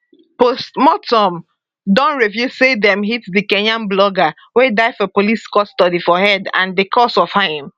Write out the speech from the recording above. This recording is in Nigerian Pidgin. postmortem don reveal say dem hit di kenyan blogger wey die for police custody for head and di cause of im